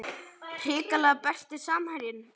hrikalegt Besti samherjinn?